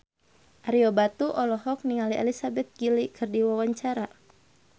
Ario Batu olohok ningali Elizabeth Gillies keur diwawancara